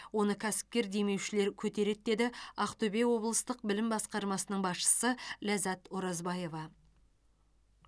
оны кәсіпкер демеушілер көтереді деді ақтөбе облыстық білім басқармасының басшысы ләззат оразбаева